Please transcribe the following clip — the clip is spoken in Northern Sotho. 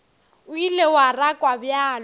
o ile wa rakwa bjalo